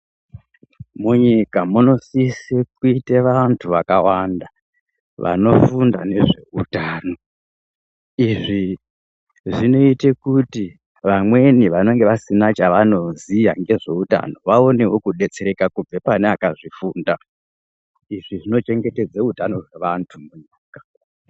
Munyika muno sise kuite vantu vaka wanda vano funda nezve utano izvi zvinoite kuti vamweni vanenge vasina chavano ziya ngezve utano vaunewo kubetsereka kubva pane vakazvi funda izvi zvino chengetedza utano we vantu.